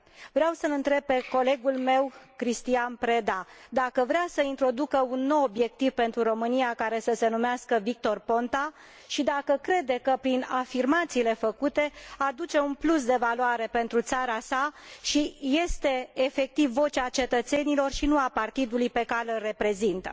Vreau să îl întreb pe colegul meu, Cristian Preda, dacă vrea să introducă un nou obiectiv pentru România, care să se numească Victor Ponta și dacă crede că, prin afirmațiile făcute, aduce un plus de valoare pentru țara sa și este, efectiv, vocea cetățenilor și nu a partidului pe care îl reprezintă.